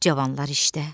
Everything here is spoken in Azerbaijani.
Cavanlar işdə.